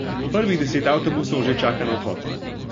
Prvih deset avtobusov že čaka na odhod.